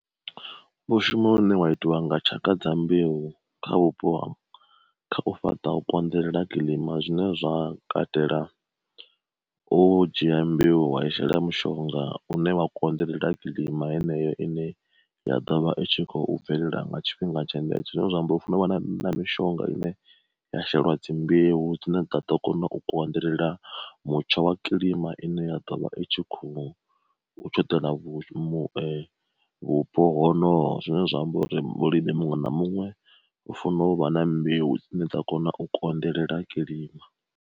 Vhu shuma hune wa itiwa nga tshaka dza mbeu kha vhupo hanhga, kha u fhaṱa u konḓelela kilima zwine zwa katela u dzhia mbeu wa i shela mushonga une wa konḓelela kilima heneyo ine ya dovha itshi kho bvelela nga tshifhinga tshenetsho, zwine zwa amba u funo vha na mishonga ine ya sheliwa dzi mbeu dzine ḓo kona u konḓelela mutsho wa kilima ine ya ḓovha i tshi kho ṱela vhu vhupo honoho zwine zwa amba uri muṅwe na muṅwe u funa u vha na mbeu dzine dza kona u konḓelela kilima.